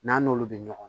N'an n'olu bɛ ɲɔgɔn